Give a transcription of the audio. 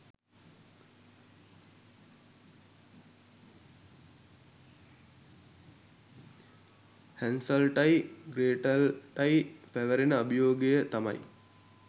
හැන්සල්ටයි ග්‍රේටල්ටයි පැවරෙන අභියෝගය තමයි